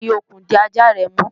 fi okùn di ajá rẹ mú!